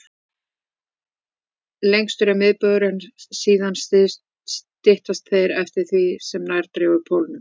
Lengstur er miðbaugur, en síðan styttast þeir eftir því sem nær dregur pólunum.